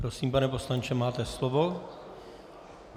Prosím, pane poslanče, máte slovo.